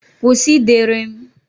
Kwụsị ịdere m!